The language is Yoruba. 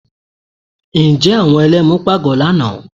Ǹjẹ́ àwọn Ẹlẹ́mu pagbo lánàá?